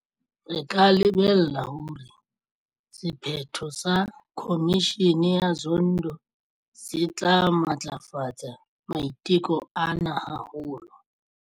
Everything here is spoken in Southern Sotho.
Re ka lebella hore sephetho sa Khomishene ya Zondo se tla matlafatsa maiteko ana haholo.